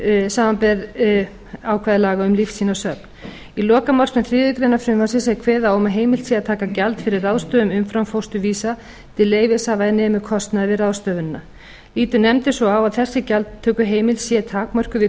samanber ákvæði laga um lífsýnasöfn í lokamálsgrein þriðju greinar frumvarpsins er kveðið á um að heimilt sé að taka gjald fyrir ráðstöfun umframfósturvísa til leyfishafa er nemur kostnaði við ráðstöfunina lítur nefndin svo á að þessi gjaldtökuheimild sé takmörkuð við